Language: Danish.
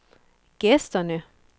gæsterne